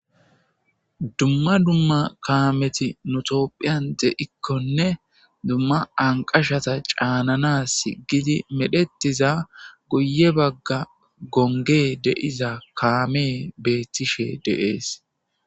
Dumma dumma kaameti nutophiyan de7ikkonne dumma anqashata caanana s gidi medhetiza guye bagga gonge deiza kaamee beettishe deees.